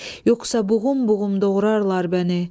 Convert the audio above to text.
Yoxsa buğum-buğum doğrayarlar bəni.